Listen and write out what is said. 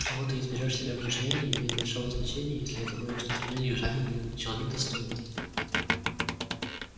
кого ты изберёшь себе в мужья не имеет большого значения если это будет джентльмен южанин или человек достойный